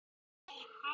Kann sitt fag mjög vel.